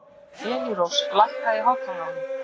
Elírós, lækkaðu í hátalaranum.